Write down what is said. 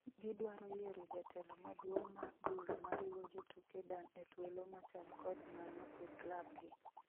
Gidwaro yiero jatelo maduong' mar duol mariwo jotuke Dan e thuolo machal kod mano e klab gi